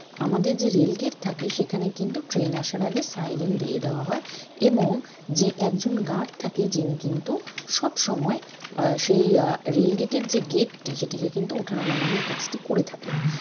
আমাদের যে rail gate থাকে সেখানে কিন্তু train আসার আগে siren দিয়ে দেয়া হয় এবং যে একজন guard থাকে যিনি কিন্তু সবসময় আহ সেই আহ rail gate এর যে gate টি সেটিকে কিন্তু উঠানো নামানোর কাজটি করে থাকেন।